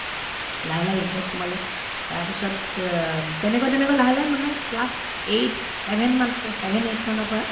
লাহে লাহে interest সোমালে তাৰপিছত তেনেকৈ তেনেকৈ লাহে লাহে মানে class eight seven মান class seven eight মানৰ পৰা